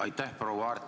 Aitäh, proua Aart!